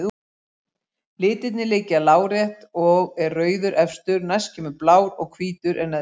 Litirnir liggja lárétt og er rauður efstur, næst kemur blár og hvítur er neðstur.